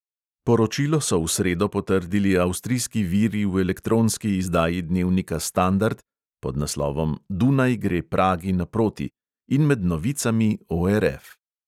Poročilo so v sredo potrdili avstrijski viri v elektronski izdaji dnevnika standard (pod naslovom dunaj gre pragi naproti) in med novicami ORF.